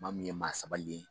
Maa min ye maa sabalilen ye